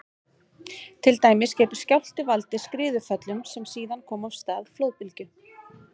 Til dæmis getur skjálfti valdið skriðuföllum sem síðan koma af stað flóðbylgju.